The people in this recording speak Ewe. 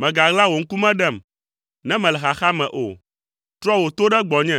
Mègaɣla wò ŋkume ɖem, ne mele xaxa me o. Trɔ wò to ɖe gbɔnye,